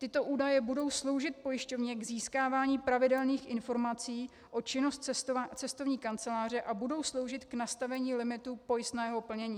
Tyto údaje budou sloužit pojišťovně k získávání pravidelných informací o činnosti cestovní kanceláře a budou sloužit k nastavení limitu pojistného plnění.